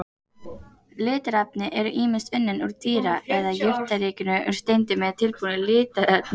Litarefnin eru ýmist unnin úr dýra- eða jurtaríkinu, úr steindum eða tilbúin litarefni.